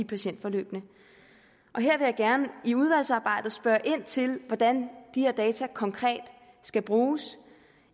patientforløbene her vil jeg gerne i udvalgsarbejdet spørge ind til hvordan de her data konkret skal bruges